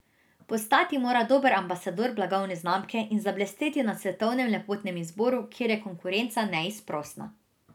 Postati mora dober ambasador blagovne znamke in zablesteti na svetovnem lepotnem izboru, kjer je konkurenca neizprosna.